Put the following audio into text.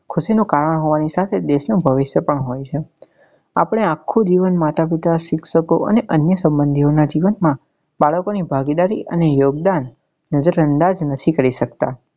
ખુશી નું કારણ હોવા ને સાથે દેશ નું ભવિષ્ય પણ હોઈ છે આપને આખું જીવન માતા પિતા શિક્ષકો અને અન્ય સંબંધીઓ ના જીવન માં બાળકો ની ભાગીદારી અને યોગદાન નજરઅંદાજ નથી કરી સકતા